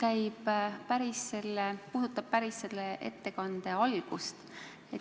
Minu küsimus puudutab päris selle ettekande algust.